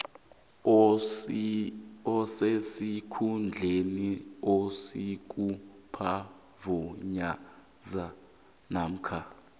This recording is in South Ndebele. osesikhundleni sobusuphavayiza namkha